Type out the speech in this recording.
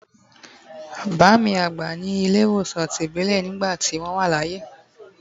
Baami agba ni ile iwosàn tibilé nigbá ti wón wa laye